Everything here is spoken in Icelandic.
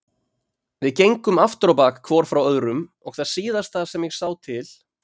Við gengum afturábak hvor frá öðrum og það síðasta sem ég sá til